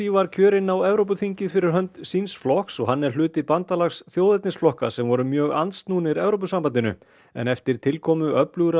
var kjörinn á Evrópuþingið fyrir hönd síns flokks og hann er hluti bandalags sem voru mjög andsnúnir Evrópusambandinu en eftir tilkomu öflugra